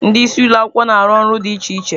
Ndị isi ụlọ akwụkwọ na-arụ ọrụ dị iche iche